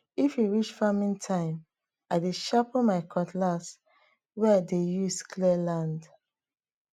if e reach farming time i dey sharpen my cutlass wey i dey use clear land